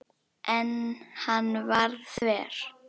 En hann var þver.